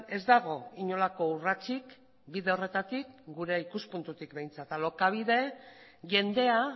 ez dago inolako urratsik bide horretatik gure ikuspuntutik behintzat alokabide jendea